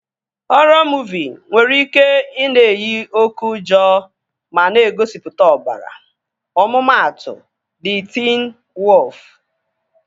Họrọ muuvi nwere ike ị na-eyi oké ụjọ ma na-egosipụta ọbara. Ọmụmatụ, Di Tiin Woofu